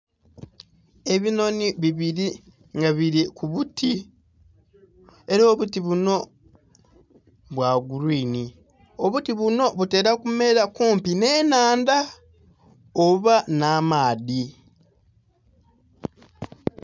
Ebinhonhi bibili nga bili ku buti ela obuti bunho bwa green obuti bunho butela kumela kumpi nh'ennhandha, oba nh'amaadhi.